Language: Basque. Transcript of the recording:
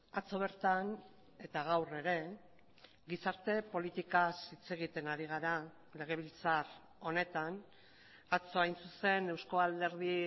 atzo bertan eta gaur ere gizarte politikaz hitz egiten ari gara legebiltzar honetan atzo hain zuzen euzko alderdi